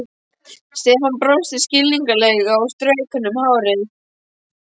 Stefán brosti skringilega og strauk henni um hárið.